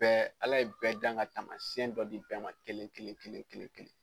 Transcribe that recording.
Bɛɛ , ala ye bɛɛ dan ka tamasiɲɛn dɔ di bɛɛ ma kelen kelen kelen.